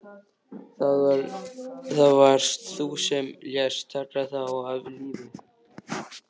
Það varst þú sem lést taka þá af lífi.